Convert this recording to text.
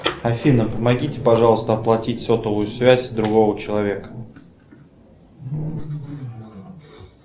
афина помогите пожалуйста оплатить сотовую связь другого человека